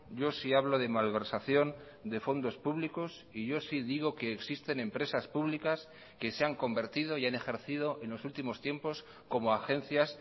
yo sí hablo de malversación de fondos públicos y yo sí digo que existen empresas públicas que se han convertido y han ejercido en los últimos tiempos como agencias